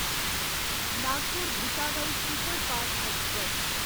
Nagpur Bhusawal superfast express